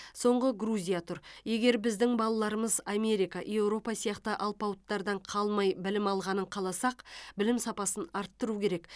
соңғы грузия тұр егер біздің балаларымыз америка еуропа сияқты алпауыттардан қалмай білім алғанын қаласақ білім сапасын арттыру керек